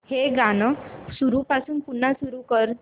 हे गाणं सुरूपासून पुन्हा सुरू कर